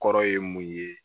Kɔrɔ ye mun ye